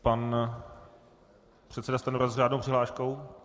Pan předseda Stanjura s řádnou přihláškou.